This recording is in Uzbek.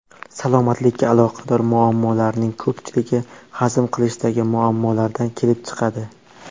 Salomatlikka aloqador muammolarning ko‘pchiligi hazm qilishdagi muammolardan kelib chiqadi.